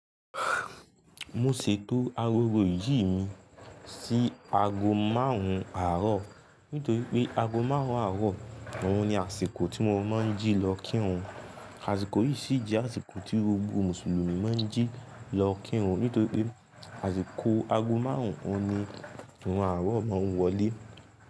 Mo ṣètò agogo ìjì mi sí aago márùn-ún àárọ̀ nítorí pé aago márùn-ún àárọ̀ ọ̀hún ni àsìkò tí mo máa ń jí lọ kírun. Àsìkò yìí sì jẹ́ àsìkò tí gbogbo Mùsùlùmí máa ń jí lọ kírun nítorí pé àsìkò aago márùn-ún ni ìrun àárọ̀ máa ń wọlé.